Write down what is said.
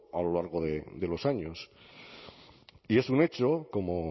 a lo largo de los años y es un hecho como